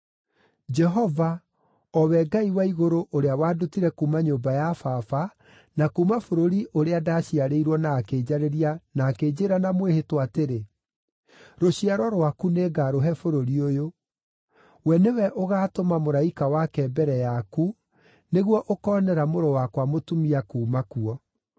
Jehova, o we Ngai wa igũrũ ũrĩa wandutire kuuma nyũmba ya baba na kuuma bũrũri ũrĩa ndaciarĩirwo na akĩnjarĩria na akĩnjĩĩra na mwĩhĩtwa atĩrĩ, ‘Rũciaro rwaku nĩngarũhe bũrũri ũyũ’ we nĩwe ũgaatũma mũraika wake mbere yaku nĩguo ũkoonera mũrũ wakwa mũtumia kuuma kuo.